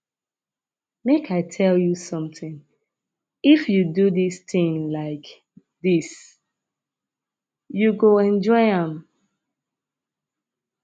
make i tell you something if you do dis thing like dis you go enjoy am